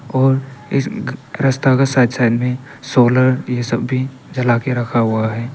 और इस रस्ता का साइड साइड में सोलर ये सब भी जला के रखा हुआ है।